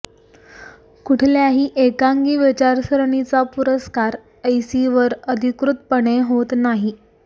कुठल्याही एकांगी विचारसरणीचा पुरस्कार ऐसीवर अधिकृतपणे होत नाही